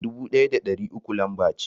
Dubu ɗaya da ɗari uku lamba ce.